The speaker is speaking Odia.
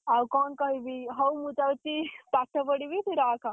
ଆଉ କଣ କହିବି। ହଉ ମୁଁ ଯାଉଛି ପାଠ ପଢିବି। ତୁ ରଖ।